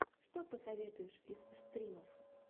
что посоветуешь из стримов